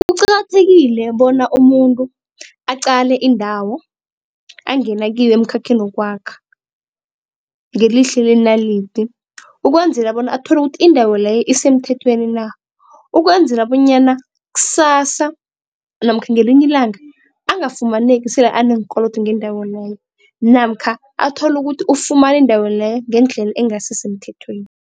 Kuqakathekile bona umuntu aqale indawo angena kiyo emkhakheni wokwakha, ngelihlo lenalidi ukwenzela bona athole ukuthi indawo leyo isemthethweni na? Ukwenzela bonyana ksasa namkha ngelinye ilanga angafumaneki sele aneenkolodo ngendawo leyo namkha athole ukuthi ufumane indawo leyo ngendlela engasisemthethweni.